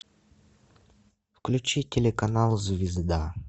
включи телеканал звезда